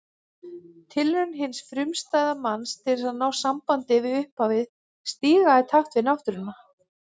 Tilraun hins frumstæða manns til að ná sambandi við upphafið, stíga í takt við Náttúruna.